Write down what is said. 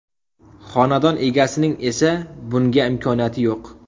Xonadon egasining esa bunga imkoniyati yo‘q.